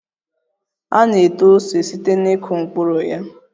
A na-eto ose site na ịkụ mkpụrụ ya